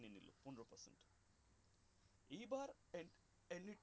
এইবার এই এই যে